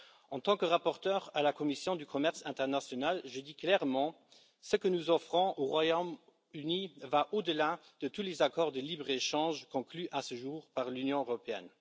En tant que rapporteur de la commission du commerce international, je dis clairement que ce que nous offrons au Royaume Uni va au delà de tous les accords de libre échange conclus à ce jour par l'Union européenne.